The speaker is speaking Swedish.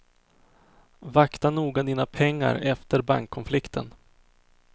Vakta noga dina pengar efter bankkonflikten.